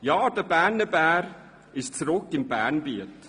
Ja, der Berner Bär ist zurück im Bernbiet.